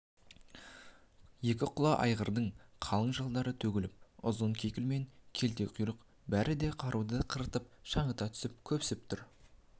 екі құла айғырдың қалың жалдары төгіліп ұзын кекіл мен күлте құйрық бәрі де қырауытып шаңыта түсіп көпсіп тұр